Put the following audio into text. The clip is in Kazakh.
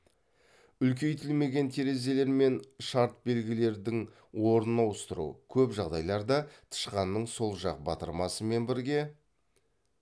үлкейтілмеген терезелер мен шарт белгілердің орнын ауыстыру көп жағдайларда тышқанның сол жақ батырмасымен бірге